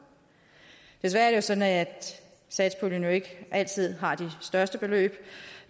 desværre er sådan at satspuljen ikke altid har de største beløb